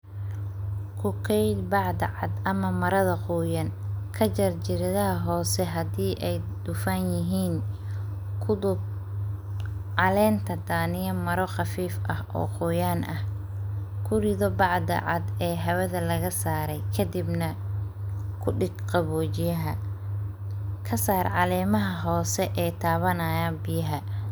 Ku keydi bacda cadd ama marada qoyan, ka jar jiridaha hoose hadii ay dhufan yihiin ,ku duub caleenta daaniya mara qafiif ah oo qoyaan ah ,ku rido bacda cadd ee hawada la saray ,kadibna ku dhig qawojiyaha , ka saar calemaha hoose ee tawanayaan biyaha.